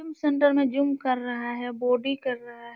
Gym centre में gym कर रहा है बोडी कर रहा है।